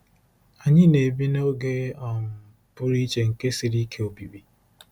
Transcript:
Anyị na-ebi 'n'oge um pụrụ iche nke siri ike obibi.'